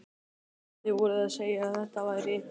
Krakkarnir voru að segja að þetta væri